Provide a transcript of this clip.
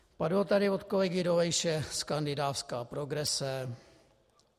Padlo tady od kolegy Dolejše: skandinávská progrese.